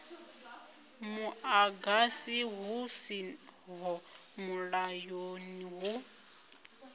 muḓagasi hu siho mulayoni hu